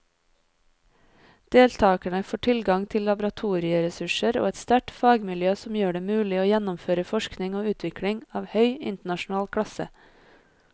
Deltakerne får tilgang til laboratorieressurser og et sterkt fagmiljø som gjør det mulig å gjennomføre forskning og utvikling av høy internasjonal klasse.